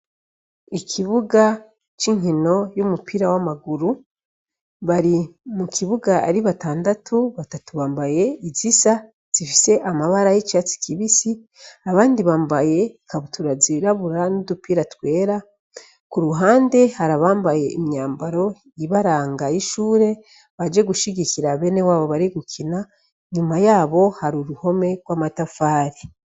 Ikibuga c'inkino y'umupira w'amaguru bari mu kibuga ari batandatu batatu bambaye izisa zifise amabara y'icatsi kibisi abandi bambaye kabuturazi irabura n'udupira twera ku ruhande harabambaye imyambaro ibarangaye ishuri baje gushigikira abene wabo bari gukina nyuma yabo hari uruhome rw'amatafari.